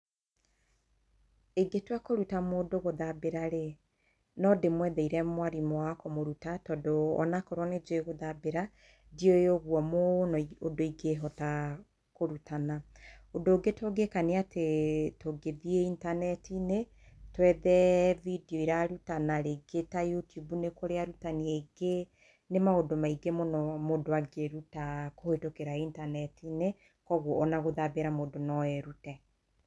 Ingĩtua kũruta mũndũ gũthabĩra-rĩ, no ndĩmwetheire mwarimũ wa kũmũruta, tondũ onakorwo nĩnjũĩ gũthambĩra, ndiũĩ ũguo mũno, ũndũ ingĩhota kũrutana. Ũndũ ũngĩ tũngĩka, tũngĩthiĩ intaneti-inĩ, twethe bindio irarutana ta YouTube nĩ kũrĩ arutanĩ aingĩ. Nĩ maũndũ maingĩ mũno mũndũ angĩruta kũhetũkĩra intaneti-inĩ, kwoguo ona gũthambĩra mũndũ no erute.